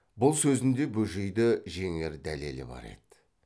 бұл сөзінде бөжейді жеңер дәлелі бар еді